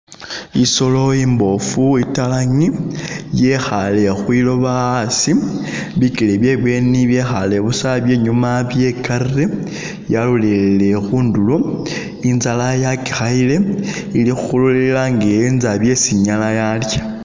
I'solo i'mboofu i'talangi, yekhale khwilooba a'asi, bikele bye'bweni byekhale busa bye'nyuma bye'karile byalolelele khundulo, i'nzala yakikhayile, ili khulila nge e'enza byesi i'nyala yalya